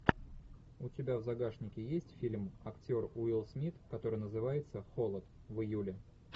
у тебя в загашнике есть фильм актер уилл смит который называется холод в июле